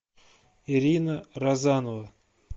ирина розанова